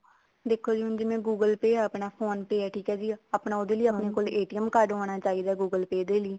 ਦੇਖੋ ਜੀ ਜਿਵੇਂ ਹੁਣ google pay ਹਾ ਆਪਣਾ phone pay ਠੀਕ ਆ ਜੀ ਆਪਣਾ ਉਹਦੇ ਲਈ ਆਪਣੇ ਕੋਲ card ਹੋਣ ਚਾਹੀਦਾ google pay ਦੇ ਲਈ